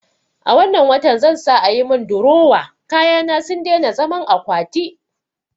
A wannan watan zan sa ayi min durowa, kayana sun daina zaman akwati